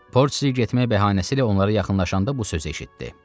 Portsi getmək bəhanəsi ilə onlara yaxınlaşanda bu sözü eşitdi: